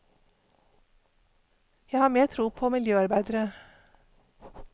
Jeg har mer tro på miljøarbeidere.